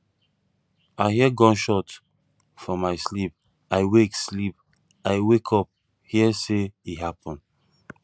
i hear gunshot for my sleep i wake sleep i wake up hear say e happen